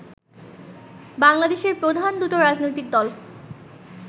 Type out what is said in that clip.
বাংলাদেশের প্রধান দুটো রাজনৈতিক দল